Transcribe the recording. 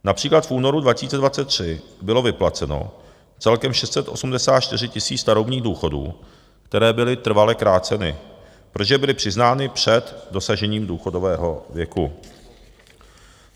Například v únoru 2023 bylo vyplaceno celkem 684 tisíc starobních důchodů, které byly trvale kráceny, protože byly přiznány před dosažením důchodového věku.